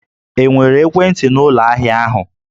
E nwere ekwentị n'ụlọ ahịa ahụ?